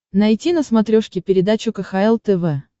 найти на смотрешке передачу кхл тв